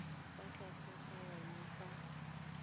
fa tlase ga ona fa